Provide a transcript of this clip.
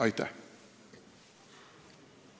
Aitäh!